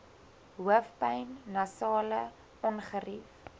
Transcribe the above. hoofpyn nasale ongerief